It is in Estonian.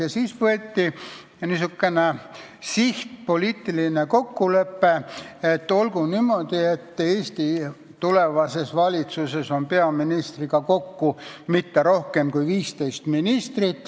Ja siis võeti niisugune siht, sõlmiti poliitiline kokkulepe, et olgu niimoodi, et Eesti tulevases valitsuses on peaministriga kokku kõige rohkem 15 inimest.